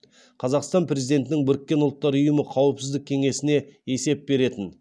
қазақстан президентінің біріккен ұлттар ұйымы қауіпсіздік кеңесіне есеп беретін